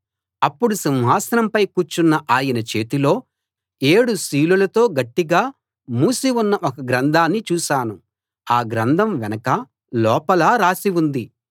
అప్పుడు సింహాసనంపై కూర్చున్న ఆయన చేతిలో ఏడు సీలులతో గట్టిగా మూసి ఉన్న ఒక గ్రంథాన్ని చూశాను ఆ గ్రంథం వెనకా లోపలా రాసి ఉంది